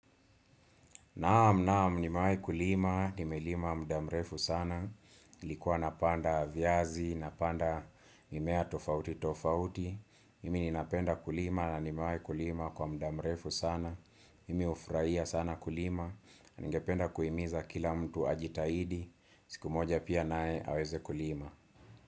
Naam naam nimewai kulima, nimelima muda mrefu sana, ilikuwa napanda viazi, napanda mimea tofauti tofauti, mimi ninapenda kulima na nimewai kulima kwa muda mrefu sana, mimi hufurahia sana kulima, ningependa kuimiza kila mtu ajitahidi, siku moja pia naye aweze kulima.